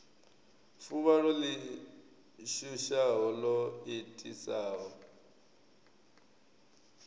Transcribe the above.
fuvhalo ḽi shushaho ḽo itisaho